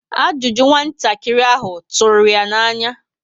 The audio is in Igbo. Ajụjụ nwatakịrị ahụ rúrú ya na-anya